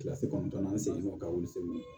Kilasi kɔnɔntɔnnan ni segin o ka wili